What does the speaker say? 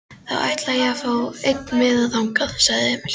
Þá ætla ég að fá einn miða þangað, sagði Emil.